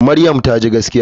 Maryam taji gaskiya.